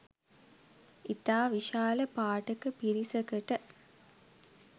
ඉතා විශාල පාඨක පිරිසකට